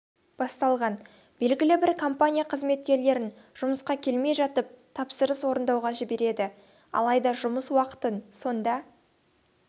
басталған белгілі бір компания қызметкерлерін жұмысқа келмей жатып тапсырыс орындауға жібереді алайда жұмыс уақытын сонда